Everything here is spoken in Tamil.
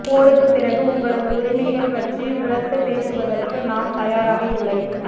போருக்குப் பிறகு எங்களது உரிமைகள் பற்றி உரத்துப் பேசுவதற்கு நாம் தயாராக இல்லை